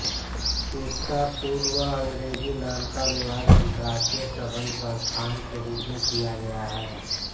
इसका पूर्व अंग्रेजी नाम का अनुवाद अन्तरराष्ट्रीय सम्बन्ध संस्थान के रूप में किया गया है